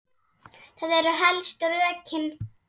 Það eru helstu rökin.